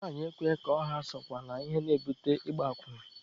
Nwanyị ekweghị ka ọ ha sokwa na ihe na-ebute ịgba akwụna.